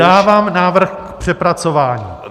Dávám návrh k přepracování.